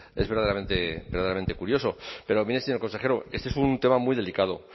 es verdaderamente curioso pero mire señor consejero este es un tema muy delicado